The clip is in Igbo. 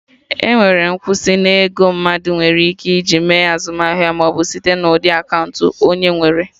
Enwere nkwụsị na ego mmadụ nwere ike ji mee azụmahịa, ọ bụ site na ụdị akaụntụ onye nwere